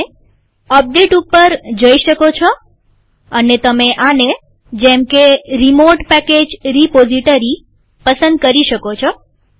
તમે અપડેટ ઉપર જઈ શકો છે અને તમે આને જેમકે રીમોટ પેકેજ રીપોઝીટરી પસંદ કરી શકો છો